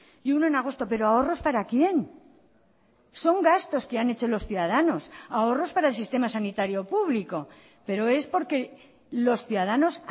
y uno en agosto pero ahorros para quién son gastos que han hecho los ciudadanos ahorros para el sistema sanitario público pero es porque los ciudadanos